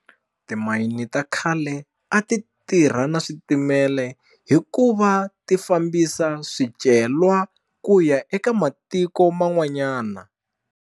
Timayini ta khale a ti tirha na switimele hi ku va ti fambisa swicelwa ku ya eka matiko man'wanyana.